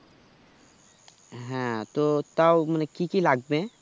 হ্যাঁ, তো তাও মানে কি কি লাগবে?